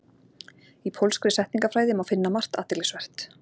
Í pólskri setningafræði má finna margt athyglisvert.